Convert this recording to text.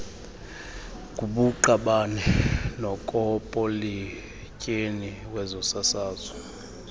kubuqabane nokopoletyeni wezosasazo